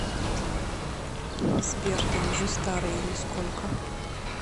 сбер ты уже старый или сколько